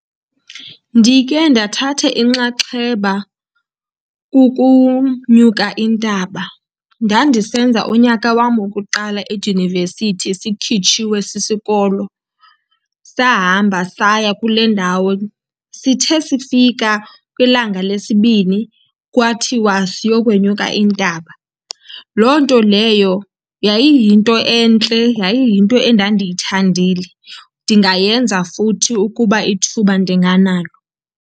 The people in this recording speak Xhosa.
Ndike ndathatha inxaxheba kukunyuka intaba. Ndandisenza unyaka wam wokuqala edyunivesithi sikhitshiwe sisikolo, sahamba saya kule ndawo. Sithe sifika kwilanga lesibini kwathiwa siyokwenyuka intaba. Loo nto leyo yayiyinto entle, yayiyinto endandiyithandile. Ndingayenza futhi ukuba ithuba ndinganalo.